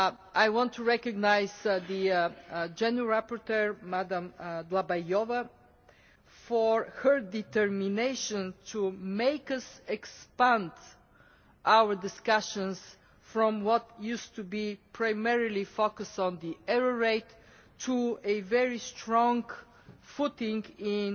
I want to recognise the rapporteur Madam Dlabajová for her determination to make us expand our discussions from what used to be primarily focus on the error rate to a very strong footing in